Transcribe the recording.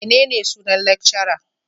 Menene sunan lecturer?